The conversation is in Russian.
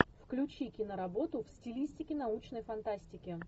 включи киноработу в стилистике научной фантастики